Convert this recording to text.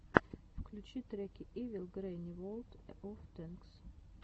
включи треки ивил грэнни ворлд оф тэнкс